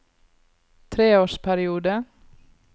treårsperiode